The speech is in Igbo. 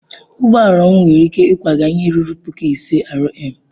Ụgbọ ala m nwere ike ịkwaga ihe ruru puku ise R/m.